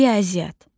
Riyaziyyat.